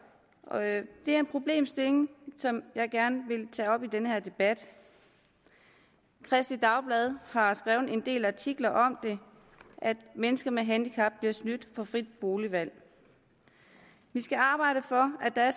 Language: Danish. det er en problemstilling som jeg gerne vil tage op i den her debat kristeligt dagblad har skrevet en del af artikler om at mennesker med handicap bliver snydt for frit boligvalg vi skal arbejde for at der er